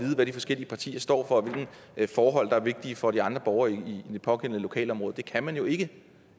hvad de forskellige partier står for og hvilke forhold der er vigtige for de andre borgere i det pågældende lokalområde det kan man jo ikke